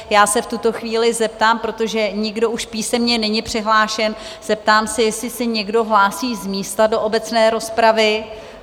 Já se v tuto chvíli zeptám, protože nikdo už písemně není přihlášen, zeptám se, jestli se někdo hlásí z místa do obecné rozpravy?